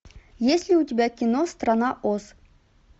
есть ли у тебя кино страна оз